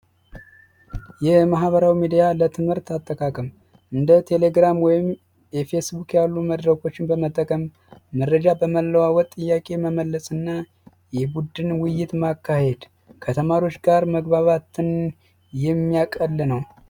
የማህበራዊ ሚዲያ ለትምህርት አጠቃቀም እንደ ቴሌግራም ወይም የፌስቡክ ያሉ መድረኮችን በመጠቀምም መረጃ በመለዋወጥ ጥያቄ መመለስ እና የቡድን ውይይት ማካሄድ ከተማሪዎች ጋር መግባባትን የሚያቀል ነው።